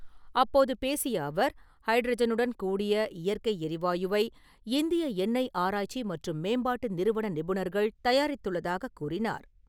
அப்போது பேசிய அவர், ஹைட்ரஜனுடன் கூடிய இயற்கை எரிவாயுவை இந்திய எண்ணெய் ஆராய்ச்சி மற்றும் மேம்பாட்டு நிறுவன நிபுணர்கள் தயாரித்துள்ளதாகக் கூறினார்.